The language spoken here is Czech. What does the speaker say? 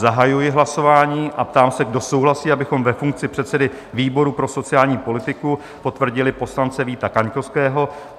Zahajuji hlasování a ptám se, kdo souhlasí, abychom ve funkci předsedy výboru pro sociální politiku potvrdili poslance Víta Kaňkovského?